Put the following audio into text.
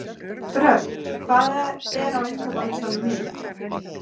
Dröfn, hvað er á innkaupalistanum mínum?